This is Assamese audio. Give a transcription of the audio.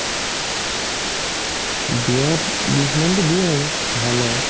দিয়াত বিছ মানতো দিয়ে আৰু ভাল আৰু